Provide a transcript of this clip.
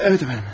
Bəli əfəndim.